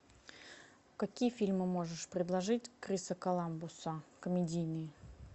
какие фильмы можешь предложить криса коламбуса комедийные